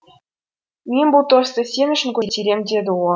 мен бұл тосты сен үшін көтерем деді ол